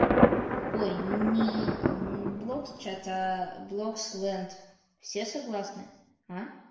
ой не блок чата блок сленд все согласны а